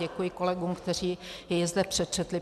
Děkuji kolegům, kteří jej zde přečetli.